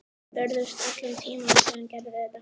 Við börðumst allan tímann og síðan gerum við þetta.